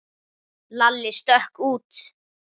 Lalli stökk út.